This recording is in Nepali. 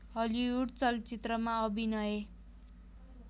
हलिवुड चलचित्रमा अभिनय